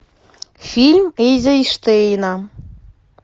фильм эйзенштейна